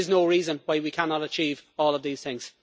There is no reason why we cannot achieve all of these things.